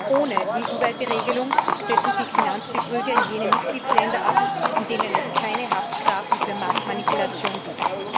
Ohne eine EU weite Regelung setzen sich Finanzbetrüger in jene Mitgliedsländer ab, in denen es keine Haftstrafen für Marktmanipulation gibt.